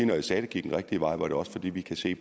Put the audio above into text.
når jeg sagde det gik den rigtige vej var det også fordi vi kan se